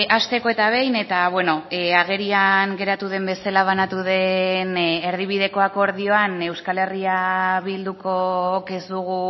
hasteko eta behin eta agerian geratu den bezala banatu den erdibideko akordioan euskal herria bildukook ez dugu